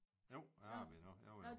Jo jeg arbejder endnu jo jo